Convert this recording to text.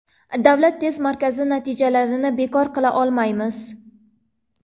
Davlat test markazi natijalarini bekor qila olmaymiz.